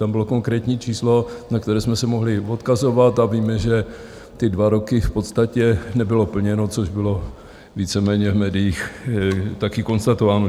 Tam bylo konkrétní číslo, na které jsme se mohli odkazovat, a víme, že ty dva roky v podstatě nebylo plněno, což bylo víceméně v médiích také konstatováno.